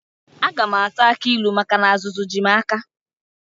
Aga m ata akị ilu maka na azụzụ ji m aka.